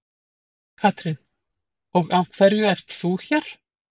Katrín: Og af hverju ert þú hér?